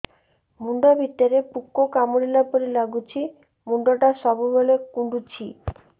ମୁଣ୍ଡ ଭିତରେ ପୁକ କାମୁଡ଼ିଲା ପରି ଲାଗୁଛି ମୁଣ୍ଡ ଟା ସବୁବେଳେ କୁଣ୍ଡୁଚି